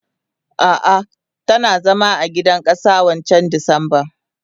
Ah ah tana zama a gidan kasa wancan disemban.